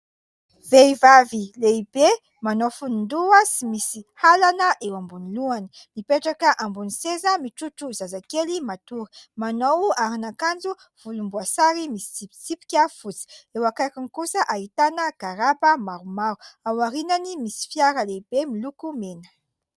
Vehivavy lehibe manao fonon-doha sy misy halana eo ambonin'ny lohany, mipetraka ambonin'ny seza, mitrotro zazakely matory, manao arin'kanjo volomboasary misy tsipisipika fotsy; eo akaikiny kosa ahitana garaba maromaro, ao aoriany misy fiara lehibe miloko mena.